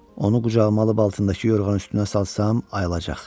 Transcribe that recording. Onu qucağıma alıb altındakı yorğanın üstünə salsam, ayılacaq.